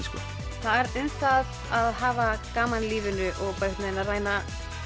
það er um það að hafa gaman í lífinu og reyna að